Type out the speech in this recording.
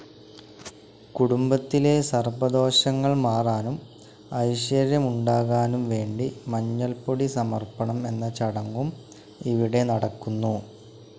കുടുംബത്തിലെ സർപ്പദോഷങ്ങൾ മാറാനും ഐശ്വര്യമുണ്ടാകാനും വേണ്ടി മഞ്ഞൾപൊടി സമർപണം എന്ന ചടങ്ങും ഇവിടെ നടക്കുന്നു.